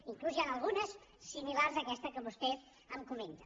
fins i tot n’hi ha algunes similars a aquesta que vostè em comenta